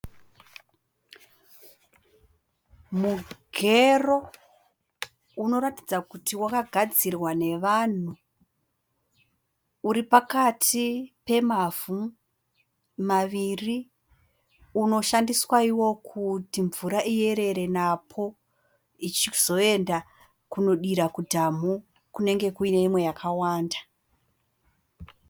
Mugero unoratidza kuti wakagadzirwa navanhu. Uri pakati pemavhu maviri. Unoshandiswa iwo kuti mvura iyerere napo ichizoenda kunodira mudhamhu kunenge kune imwe yakawanda.